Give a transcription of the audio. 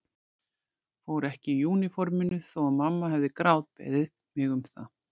Fór ekki úr úniforminu þó að mamma hefði grátbeðið mig um það.